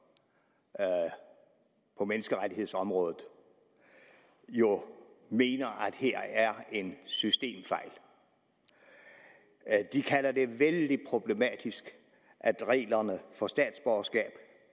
på menneskerettighedsområdet jo mener at her er en systemfejl de kalder det vældig problematisk at reglerne for statsborgerskab